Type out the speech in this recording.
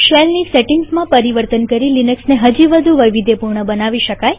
શેલની સેટિંગમાં પરિવર્તન કરી લિનક્સને હજી વધુ વૈવિધ્યપૂર્ણ બનાવી શકીએ